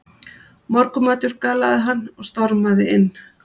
Morgunmatur galaði hann og stormaði inn.